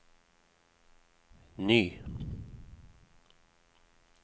ny